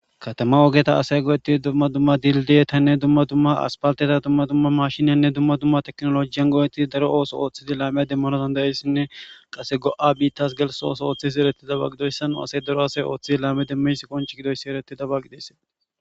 Katama ogeta asay go'etti dumma dumma dildiyetanne dumma dumma aspalteta dumma dumma mashiniyanne dumma dumma teknolojiyan goo'etti daro ooso ooththidi laamey demmono dandayeyssinne qase go'a biittas gels ooso ooththisii ereti dabagidoyssanu asay daro asay ooththidi laame demmeys konch gidoyssi ereti dabagi desse.